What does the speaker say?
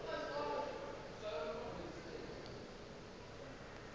a ekwa tšeo a napa